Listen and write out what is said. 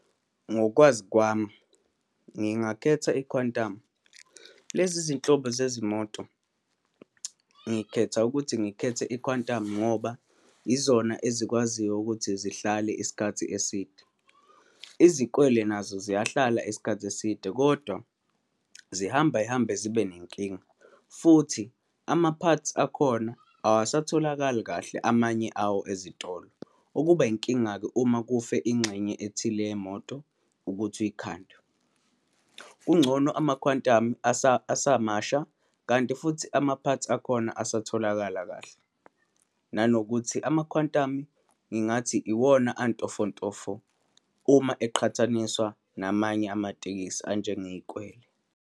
Ngokwazi kwami, ngingakhetha i-Quantum. Lezi zinhlobo zezimoto, ngikhetha ukuthi ngikhethe i-Quantum ngoba izona ezikwaziyo ukuthi zihlale isikhathi eside. Izikwele nazo ziyahlala isikhathi eside, kodwa zihamba zihambe zibe nenkinga, futhi ama-parts akhona awasatholakali kahle amanye awo ezitolo, okuba inkinga-ke uma kufe ingxenye ethile yemoto ukuthi uyikhande. Kungcono ama-Quantum asamasha, kanti futhi ama-parts akhona asatholakala kahle, nanokuthi ama-Quantum, ngingathi iwona antofontofo uma eqhathaniswa namanye amatekisi anjengeyikwele.